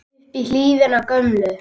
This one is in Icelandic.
upp í hlíðina gömlu